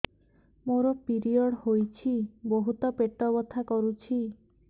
ମୋର ପିରିଅଡ଼ ହୋଇଛି ବହୁତ ପେଟ ବଥା କରୁଛି